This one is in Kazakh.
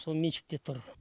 сол меншікте тұр